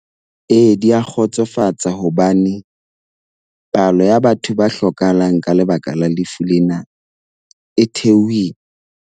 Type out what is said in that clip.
Ee, di a kgotsofatsa hobane palo ya batho ba hlokahalang ka lebaka la lefu lena e theohileng.